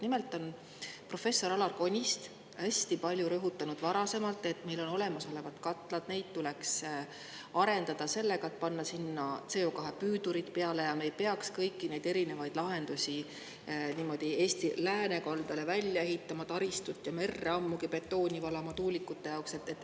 Nimelt on professor Alar Konist varasemalt hästi palju rõhutanud, et meil on olemas katlad ja neid tuleks arendada sellega, et panna sinna CO2 püüdurid peale, ja me ei peaks kõiki neid erinevaid lahendusi ja taristut niimoodi Eesti läänekaldale välja ehitama, ammugi mitte merre betooni valama tuulikute jaoks.